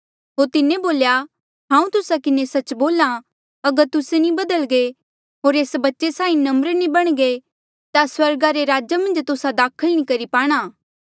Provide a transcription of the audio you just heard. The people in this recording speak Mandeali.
होर तिन्हें बोल्या हांऊँ तुस्सा किन्हें सच्च बोल्हा अगर तुस्से नी बधल्गे होर एस बच्चे साहीं नम्र नी बणघे ता स्वर्गा रे राजा मन्झ तुस्सा दाखल नी करी पाणा